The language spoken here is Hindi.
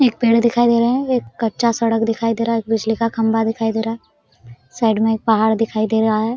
एक पेड़ दिखाई दे रहा है एक कच्चा सड़क दिखाई दे रहा है एक बिजली का खंबा दिखाई दे रहा है साइड में एक पहाड़ दिखाई दे रहा है।